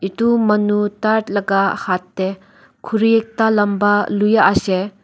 edu manu tai laka hat tae khuri ekta lamba luiase.